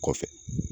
Kɔfɛ